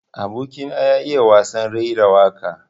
Aboki na ya iya wasan raira waƙa.